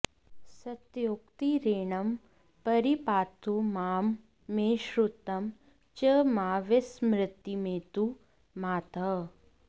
सत्योक्तिरेनं परिपातु मां मे श्रुतं च मा विस्मृतिमेतु मातः